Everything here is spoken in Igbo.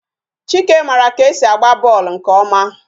Chike mara ka e si agba bọọlụ nke ọma